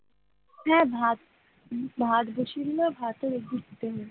হ্যাঁ ভাত ভাত বসিয়ে দিলে ভাতও দেখবি ফুটে উঠবে।